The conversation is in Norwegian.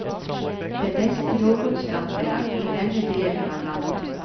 Det beste jordbrukslandet er i denne delen av landet.